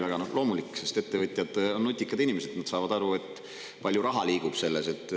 No see on loomulik, sest ettevõtjad on nutikad inimesed, nad saavad aru, et seal liigub palju raha.